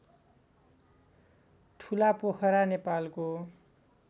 ठुलापोखरा नेपालको